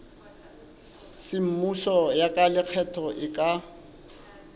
semmuso ya lekgetho e ka